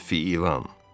Əfi ilan!